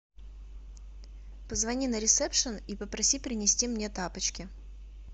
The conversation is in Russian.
позвони на ресепшен и попроси принести мне тапочки